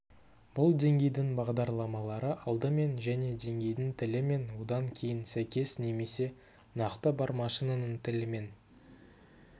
бұл деңгейдің бағдарламалары алдымен және деңгейдің тілімен одан кейін сәйкес немесе нақты бар машинаның тілімен